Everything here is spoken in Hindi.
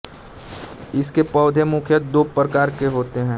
इसके पौधे मुख्यत दो प्रकार के होते हैं